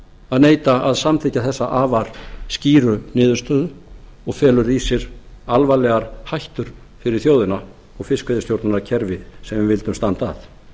að neita að samþykkja þessa afar skýru niðurstöðu og felur í sér alvarlegar hættur fyrir þjóðina og fiskveiðistjórnarkerfið sem við vildum standa að